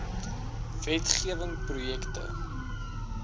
wet gewing projekte